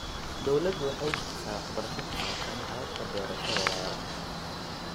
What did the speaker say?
Dawladdu waxay bixisaa waxbarasho ku saabsan hababka beerashada waara.